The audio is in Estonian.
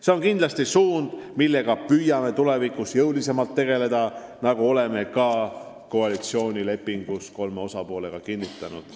See on kindlasti suund, millega püüame tulevikus jõulisemalt tegeleda, nagu oleme ka koalitsioonilepingus kolme osapoolega kinnitanud.